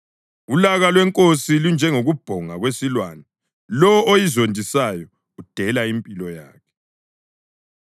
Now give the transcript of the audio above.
Ulaka lwenkosi lunjengokubhonga kwesilwane; lowo oyizondisayo udela impilo yakhe.